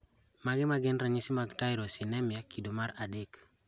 Mage magin ranyisi mag Tyrosinemia kido mar adek